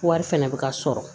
Wari fɛnɛ bɛ ka sɔrɔ